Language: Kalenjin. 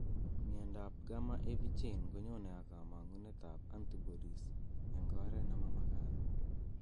Miondop gamma heavy chain konyonei ak kamang'unetab antibodies eng' oretvnemamagat